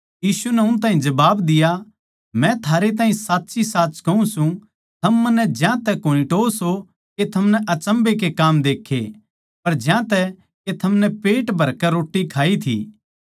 यीशु नै उन ताहीं जबाब दिया मै थारैताहीं साच्चीसाच कहूँ सूं थम मन्नै ज्यांतै कोनी टोव्हो सो के थमनै अचम्भै के काम देक्खे पर ज्यांतै के थमनै पेट भरकै रोट्टी खाई थी